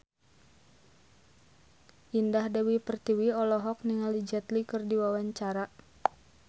Indah Dewi Pertiwi olohok ningali Jet Li keur diwawancara